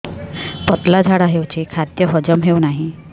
ପତଳା ଝାଡା ହେଉଛି ଖାଦ୍ୟ ହଜମ ହେଉନାହିଁ